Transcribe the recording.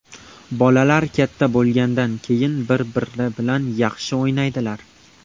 Bolalar katta bo‘lgandan keyin bir-biri bilan yaxshi o‘ynaydilar.